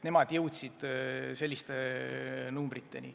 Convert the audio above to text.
Nemad jõudsid selliste numbriteni.